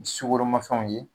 Sugoromafɛnw ye